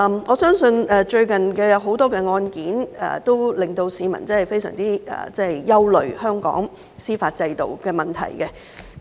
我相信最近有很多案件，均令市民對香港司法制度的問題感到非常憂慮。